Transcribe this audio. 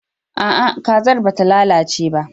A'a, kazar ba ta lalace ba.